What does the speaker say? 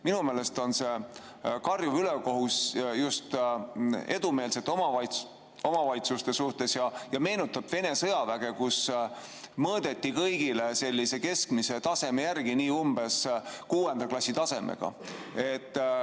Minu meelest on see karjuv ülekohus just edumeelsete omavalitsuste suhtes ja meenutab Vene sõjaväge, kus mõõdeti kõigile sellise keskmise taseme järgi, nii umbes kuuenda klassi tasemega.